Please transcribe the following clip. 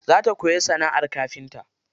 Za ta koyi sanaʼar kafinta.